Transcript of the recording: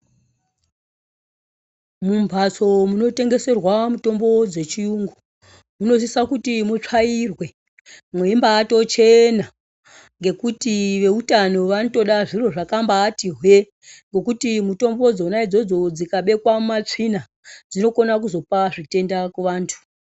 Mumbatso muno tengeserwa mitombo dzechiyungu munosisa kuti mutsvairwe mweimba tochena ngekuti veutano vanotoda zviro zvakambati hwee ngekuti mitombo dzona idzodzo dzikabekwa mumatsvina dzinokona kuzopa zvitenda kuvantu.